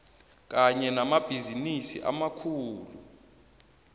kanye namabhizinisi amakhulu